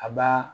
A ba